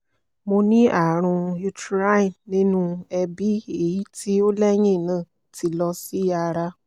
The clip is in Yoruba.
mo ni aarun uterine ninu ẹbi eyiti o lẹhinna ti lọ si ara